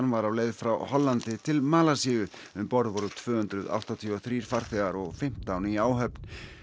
var á leið frá Hollandi til Malasíu um borð voru tvö hundruð áttatíu og þrír farþegar og fimmtán í áhöfn